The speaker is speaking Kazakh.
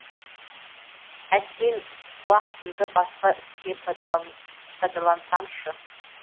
әттең уақытымды басқа іске пайдалансамшы